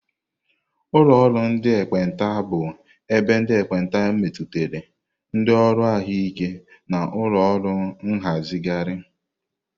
Ụlọ ndị ekpenta bụ ebe ndị ekpenta metụtara, ndị ọrụ ahụike na ụlọ ọrụ nhazigharị.